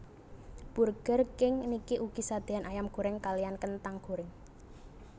Burger King niki ugi sadeyan ayam goreng kaliyan kentang goreng